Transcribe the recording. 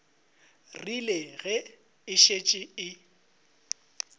rile ge e šetše e